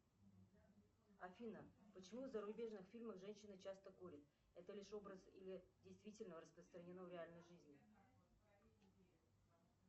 афина почему в зарубежных фильмах женщины часто курят это лишь образ или действительно распространено в реальной жизни